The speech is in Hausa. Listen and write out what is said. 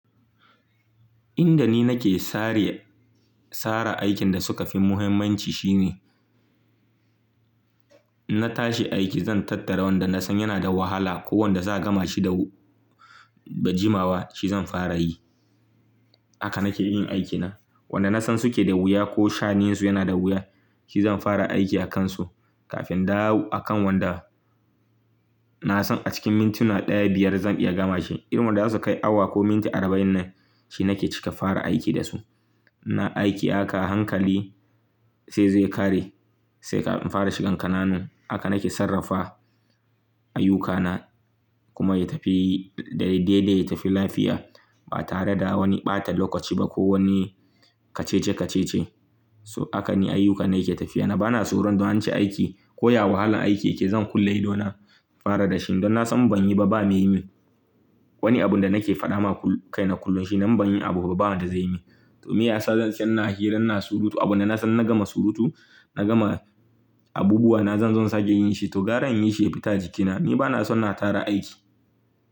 Inda ni nake sare- sara aikin da suka fi muhimmanci shine, na tashi aiki zan tattara wanda na san yana da wahala ko wanda za gama shi da ba jimawa, shi zan fara yi. Haka nake yin aikina. Wanda na san suke da wuya ko sha'anin su yana da wuya, shi zan fara aiki akansu kafin dawo a kan wanda na san a cikin mintuna daya, biyar zan iya gama shi. Irin wanda zasu kai awa ko minti arba'in nan, shi nake cika fara aiki da su. Na aiki haka hankali sai zai kare, sai ka fara shigan ƙananan. Haka nake sarrafa ayyukana kuma ya tafi daidai ya tafi lafiya ba tare da wani ɓata lokaci ba ko wani kacice-kacice. So, hakan ne ayyukana yake tafiya. Ni bana tsoron don an ci aiki ko ya wahalar aiki yake, zan kulle idona fara da shi. Don na san in banyi ba, ba me yi min wani abun da nake faɗa ma kaina kullum shi nan, ban yin abuba ba wanda zai yi min. To, me ya sa zan zauna hiran ina surutu abin da na san idan na gama surutu, na gama abubuwa na zan zo sake yin shi? To, garan inyi shi ya fita a jikina. Ni bana son na tara aiki.